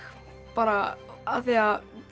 bara af því að